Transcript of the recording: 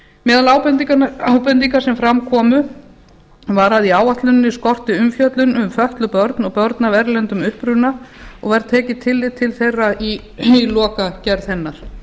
meðal ábendinga sem fram komu var að í áætluninni skorti umfjöllun um fötluð börn og börn af erlendum uppruna og var tekið tillit til þeirra í lokagerð hennar